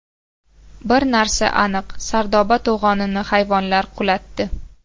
Bir narsa aniq: Sardoba to‘g‘onini hayvonlar qulatdi.